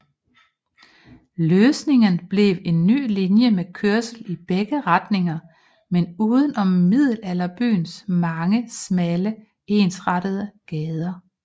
Løsningen blev en ny linje med kørsel i begge retningen men udenom Middelalderbyens mange smalle ensrettede gader